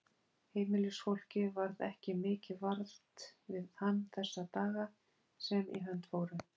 Heimilisfólkið varð ekki mikið vart við hann þessa daga sem í hönd fóru.